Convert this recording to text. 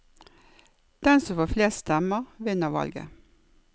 Den som får flest stemmer, vinner valget.